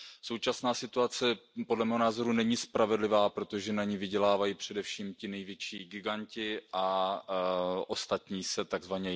Současná situace podle mého názoru není spravedlivá, protože na ní vydělávají především ti největší giganti a ostatní se tzv.